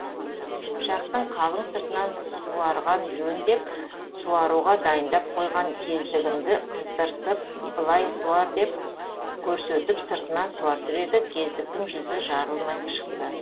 пышақтың қалың сыртынан суарған жөн деп суаруға дайындап қойған кездігімді қыздыртып былай суар деп көрсетіп сыртынан суартып еді кездіктің жүзі жарылмай шықты